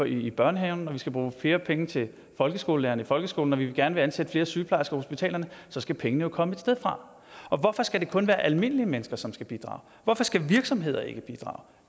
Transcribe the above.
i børnehaverne når vi skal bruge flere penge til folkeskolelærere i folkeskolen når vi gerne vil ansætte flere sygeplejersker på hospitalerne så skal pengene jo komme et sted fra og hvorfor skal det kun være almindelige mennesker som skal bidrage hvorfor skal virksomheder ikke bidrage